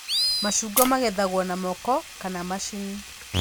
Macungwa magethagwo na moko kana macini